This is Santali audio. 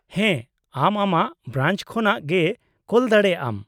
-ᱦᱮᱸ, ᱟᱢ ᱟᱢᱟᱜ ᱵᱨᱟᱧᱪ ᱠᱷᱚᱱᱟᱜ ᱜᱮ ᱠᱳᱞ ᱫᱟᱲᱮᱭᱟᱜᱼᱟᱢ ᱾